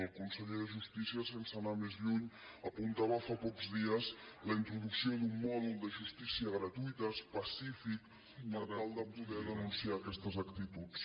el conseller de justícia sense anar més lluny apuntava fa pocs dies la introducció d’un mòdul de justícia gratuïta específic per tal de poder denunciar aquestes actituds